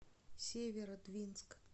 северодвинск